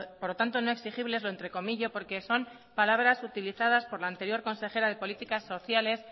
por lo tanto no exigibles lo entrecomillo porque son palabras utilizadas por la anterior consejera de políticas sociales